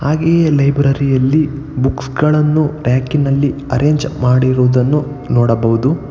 ಹಾಗೆ ಈ ಲೈಬ್ರರಿ ಅಲ್ಲಿ ಬುಕ್ಸ್ ಗಳನ್ನು ಟ್ರ್ಯಾಕ್ ನಲ್ಲಿ ಅರೇಂಜ್ ಮಾಡಿರುವುದನ್ನು ನೋಡಬಹುದು.